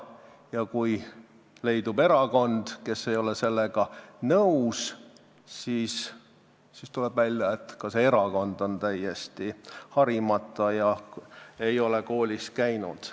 Ja kui leidub erakond, kes ei ole sellega nõus, siis tuleb välja, et ka see erakond on täiesti harimata ega ole koolis käinud.